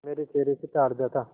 मेरे चेहरे से ताड़ जाता